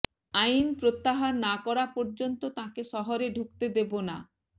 আইন প্রত্যাহার না করা পর্যন্ত তাঁকে শহরে ঢুকতে দেব না